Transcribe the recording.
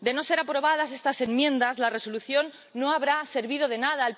De no ser aprobadas estas enmiendas, la Resolución no habrá servido de nada.